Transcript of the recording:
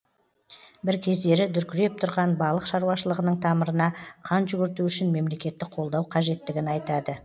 бір кездері дүркіреп тұрған балық шаруашылығының тамырына қан жүгірту үшін мемлекеттік қолдау қажеттігін айтады